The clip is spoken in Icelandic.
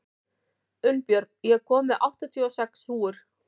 Unnbjörn, ég kom með áttatíu og sex húfur!